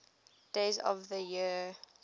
days of the year